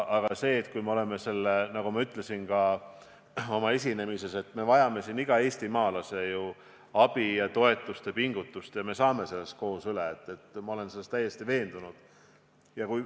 Aga selles – nagu ma ütlesin ka oma esinemises –, et me vajame iga eestimaalase abi, toetust ja pingutust ning et me saame sellest koos üle, olen ma täiesti veendunud.